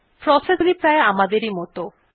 process গুলি প্রায় আমাদের মতই